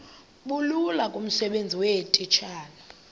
bulula kumsebenzi weetitshala